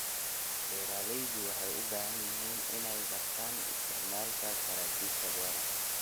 Beeraleydu waxay u baahan yihiin inay bartaan isticmaalka saraakiisha beeraha.